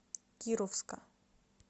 кировска